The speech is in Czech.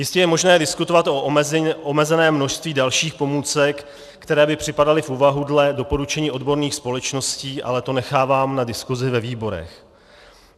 Jistě je možné diskutovat o omezeném množství dalších pomůcek, které by připadaly v úvahu dle doporučení odborných společností, ale to nechávám na diskusi ve výborech.